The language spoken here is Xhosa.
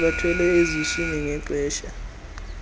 bebathwele eziswini ngexesha